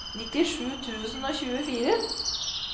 nittisju tusen og tjuefire